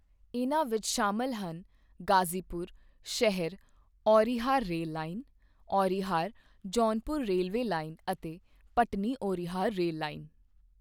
ਇਨ੍ਹਾਂ ਵਿੱਚ ਸ਼ਾਮਲ ਹਨ ਗ਼ਾਜ਼ੀਪੁਰ ਸ਼ਹਿਰ Aunrihar rail line, Aunrihar Jaunpur railway line ਅਤੇ ਭਟਨੀ ਔਂਰਿਹਾਰ ਰੇਲ ਲਾਈਨ।